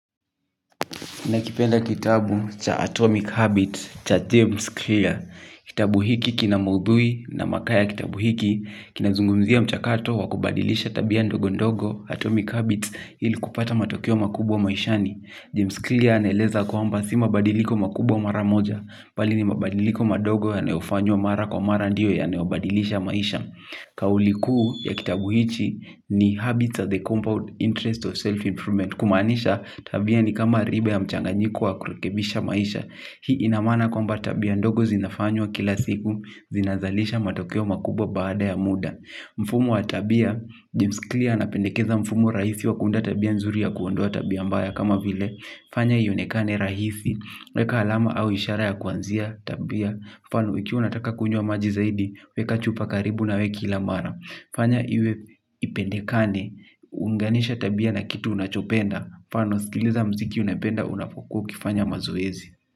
Nakipenda kitabu cha Atomic Habits cha James Clear. Kitabu hiki kina maudhui na makao ya kitabu hiki. Kinazungumzia mchakato wa kubadilisha tabia ndogo ndogo Atomic Habits ili kupata matokeo makubwa maishani. James Clear anaeleza kwamba si mabadiliko makubwa mara moja. Bali ni mabadiliko madogo yanayofanywa mara kwa mara ndio yanayobadilisha maisha. Kauli kuu ya kitabu hichi ni Habits of the Compound Interest of Self-Informance. Kumaanisha tabia ni kama ribe ya mchanganyiko wa kurekebisha maisha. Hii ina maana kwamba tabia ndogo zinafanywa kila siku, zinazalisha matokeo makubwa baada ya muda. Mfumo wa tabia, James Clear anapendekeza mfumo rahisi wa kuunda tabia nzuri ya kuondoa tabia mbaya kama vile. Fanya ionekane rahisi, weka alama au ishara ya kuanzia tabia. Mfano ikiwa unataka kunywa maji zaidi, weka chupa karibu nawe kila mara. Fanya iwe ipendekane uunganishe tabia na kitu unachopenda mfano sikiliza muziki unapenda unapokuwa ukifanya mazoezi.